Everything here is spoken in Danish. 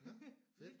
Ja nåh fedt